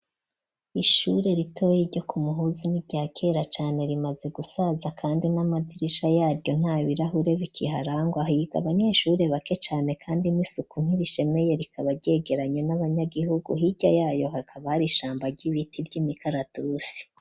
Ishure ritoye iryo ku muhuzu n'irya kera cane rimaze gusaza, kandi n'amadirisha yaryo nta birahure bikiharangwa ahiga abanyeshure bake cane, kandi misuku nkirishemeye rikaba ryegeranya n'abanyagihugu hirya yayo hakabari ishamba ry'ibiti ry'imikaratusi.